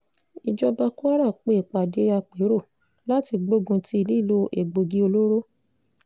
ìjọba kwara pe ìpàdé àpérò láti gbógun ti lílo egbòogi olóró